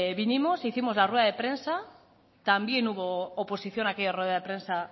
vinimos e hicimos la rueda de prensa también hubo oposición a aquella rueda de prensa